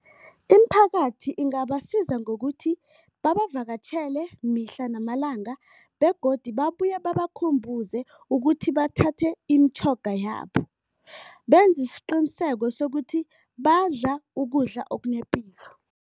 Imiphakathi ingabasiza ngokuthi babavakatjhele mihla namalanga begodi babuye babakhumbuze ukuthi bathathe imitjhoga yabo. Benze isiqiniseko sokuthi badla ukudla okunepilo.